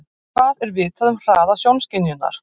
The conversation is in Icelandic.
Hvað er vitað um hraða sjónskynjunar?